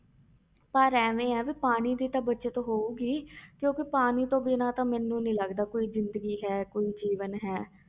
ਪਰ ਇਵੇਂ ਹੈ ਵੀ ਪਾਣੀ ਦੀ ਤਾਂ ਬਚਤ ਹੋਊਗੀ ਕਿਉਂਕਿ ਪਾਣੀ ਤੋਂ ਬਿਨਾਂ ਤਾਂ ਮੈਨੂੰ ਨੀ ਲੱਗਦਾ ਕੋਈ ਜ਼ਿੰਦਗੀ ਹੈ, ਕੋਈ ਜੀਵਨ ਹੈ।